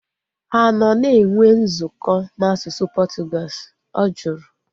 Ha anọ na-enwe nzukọ na asụsụ Portuguese? Ọ jụrụ